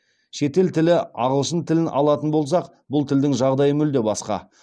шетел тілі ағылшын тілін алатын болсақ бұл тілдің жағдайы мүлде басқа